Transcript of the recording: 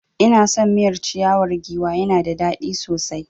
Ina son miyar ciyawar giwa ya na da dadi sosai